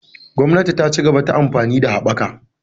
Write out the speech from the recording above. Gwamnati ta cigaba ta amfanin haɓaka.